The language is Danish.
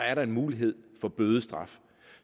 er mulighed for bødestraf